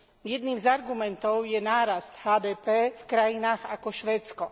Jedným z argumentov je nárast HDP v krajinách ako Švédsko.